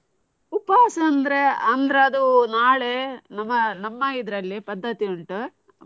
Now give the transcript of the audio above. ಉಪವಾಸ ಅಂದ್ರೆ ಅಂದ್ರೆ ಅದು ನಾಳೆ ನಮ್ಮ ನಮ್ಮ ಇದ್ರಲ್ಲಿ ಪದ್ಧತಿ ಉಂಟು.